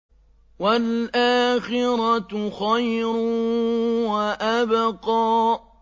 وَالْآخِرَةُ خَيْرٌ وَأَبْقَىٰ